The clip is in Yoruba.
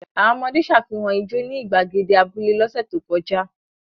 Àwọn ọmọdé ṣàfihàn ijó ní ìgbàgede abúlé lọ́sẹ̀ tó kọjá?